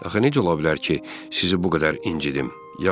Axı necə ola bilər ki, sizi bu qədər incitim?